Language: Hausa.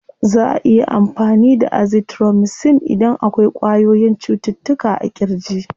Za'a iya amfani da azithromicin idan akwai ƙwayoyyin cututtuka a ƙirji.